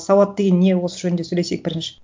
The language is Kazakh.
сауат деген не осы жөнінде сөлесейік бірінші